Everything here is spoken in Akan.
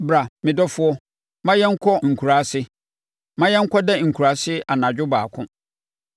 Bra, me dɔfoɔ; ma yɛnkɔ nkuraase, ma yɛnkɔda nkuraase anadwo baako.